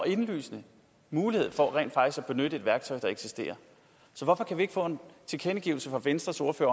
indlysende mulighed for rent faktisk at benytte et værktøj der eksisterer så hvorfor kan vi ikke få en tilkendegivelse fra venstres ordfører